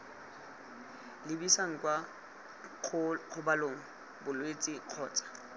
lebisang kwa kgobalong bolwetse kgotsa